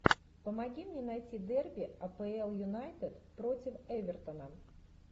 помоги мне найти дерби апл юнайтед против эвертона